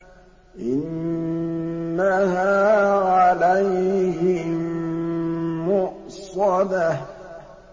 إِنَّهَا عَلَيْهِم مُّؤْصَدَةٌ